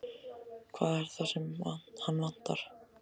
Hvað er það sem hann vantar?